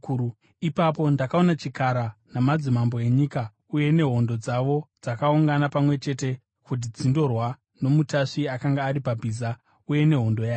Ipapo ndakaona chikara namadzimambo enyika uye nehondo dzavo dzakaungana pamwe chete kuti dzindorwa nomutasvi akanga ari pabhiza uye nehondo yake.